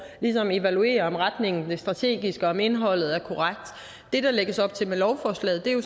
ligesom evaluerer om retningen er strategisk og om indholdet er korrekt det der lægges op til med lovforslaget er jo